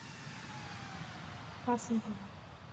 пасынкова